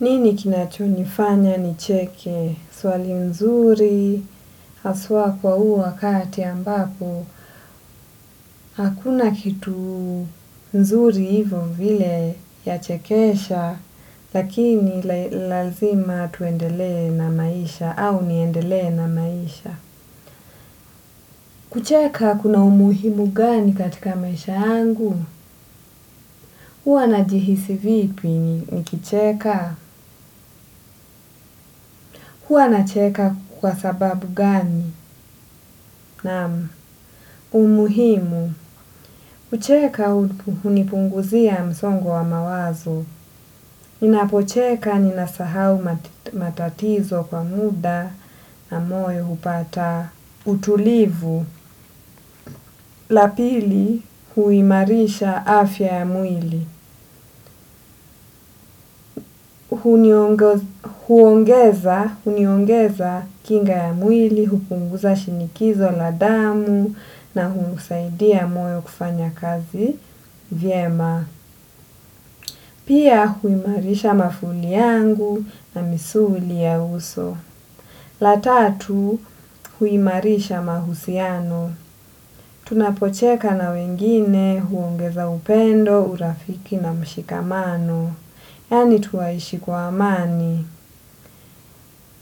Nini kinachonifanya nicheke swali nzuri, haswa kwa huu wakati ambapo, hakuna kitu mzuri hivo vile yachekesha, lakini lazima twendelee na maisha au niendelee na maisha. Kucheka kuna umuhimu gani katika maisha yangu? Huwa n jihisi vipi nikicheka? Hwa na cheka kwa sababu gani? Naam. Umuhimu. Kucheka hunipunguzia msongo wa mawazo. Ninapocheka ninasahau matatizo kwa muda na moyo hupata utulivu. La pili huimarisha afya ya mwili. Huongeza huniongeza kinga ya mwili, hukunguza shinikizo la damu na huusaidia moyo kufanya kazi vyema. Pia huimarisha mafuli yangu na misuli ya uso. La tatu huimarisha mahusiano. Tunapocheka na wengine huongeza upendo, urafiki na mshikamano. Yaani twaishi kwa amani.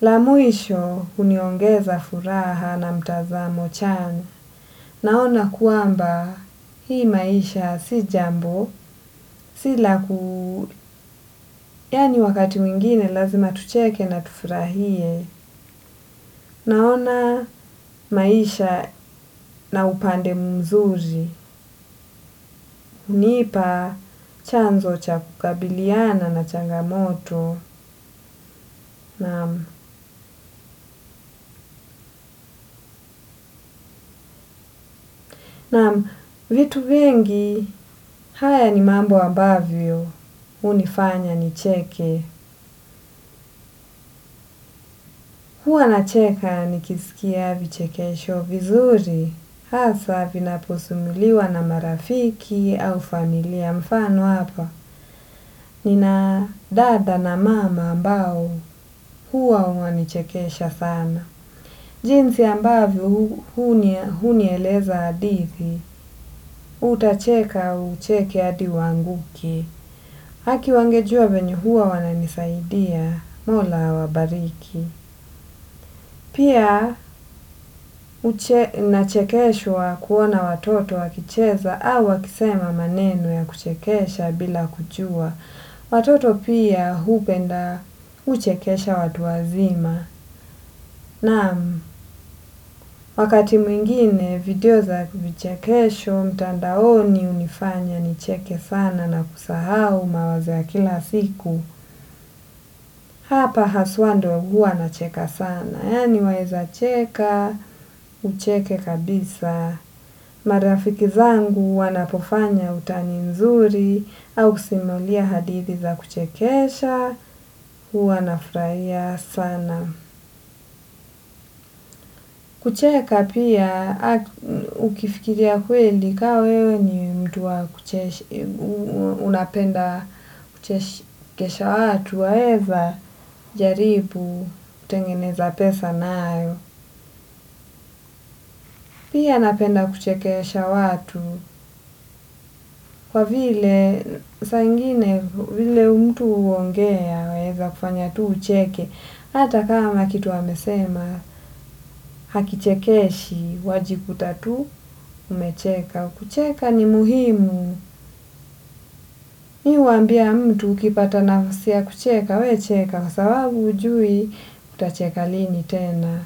La mwisho huniongeza furaha na mtazamo chanya. Naona kwamba hii maisha si jambo, si la ku. Yaani wakati mwingine lazima tucheke na tufurahie. Naona maisha na upande mzuri. Hunipa chanzo cha kukabiliana na changamoto. Naam, naam, vitu vingi haya ni mambo ambavyo hunifanya nicheke, huwa nacheka nikisikia vichekesho vizuri hasa vinaposimuliwa na marafiki au familia. Mfano hapa nina dada na mama ambao huwa wananichekesha sana. Jinsi ambavyo hunieleza hadithi, utacheka ucheke hadi uanguke. Haki wangejua venye huwa wananisaidia Mola awabariki. Pia nachekeshwa kuona watoto wakicheza au wakisema maneno ya kuchekesha bila kujua. Watoto pia hupenda huchekesha watu wazima. Naam, wakati mwingine video za vichekesho mtandaoni hunifanya nicheke sana na kusahau mawazo ya kila siku. Hapa haswa ndo huwa nacheka sana, yaani waweza cheka, ucheke kabisa. Madafikizangu wanapofanya utani nzuri au kusimulia hadithi za kuchekesha, huwa nafurahia sana. Kucheka pia ukifikiria kweli ka wewe ni mtu wa kuchesha, unapenda kuchesha watu waeza jaribu tengeneza pesa nayo. Pia napenda kuchekesha watu kwa vile saa ingine vile mtu huongea inaeza kufanya tu ucheke. Hata kama kitu amesema hakichekeshi wajikuta tu umecheka. Kucheka ni muhimu. Mimi huambia mtu ukipata nafasi ya kucheka wewe cheka kwa sababu hujui, utacheka lini tena.